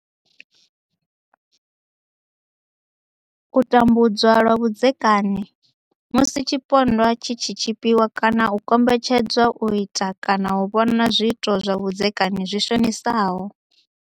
U tambudzwa lwa vhudzekani Musi tshipondwa tshi tshi tshipiwa kana u kombetshed zwa u ita kana u vhona zwiito zwa vhudzekani zwi shonisaho.